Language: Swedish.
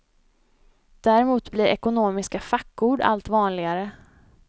Däremot blir ekonomiska fackord allt vanligare.